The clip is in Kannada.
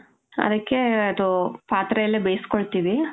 ಅದಕ್ಕೇ, ಅದು ಪಾತ್ರೆಲ್ಲೆ ಬೇಸ್ಕೊಳ್ತೀವಿ.